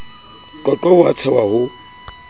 qoqwa ho a tshehwa ho